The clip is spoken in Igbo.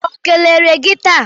O kelere gị taa?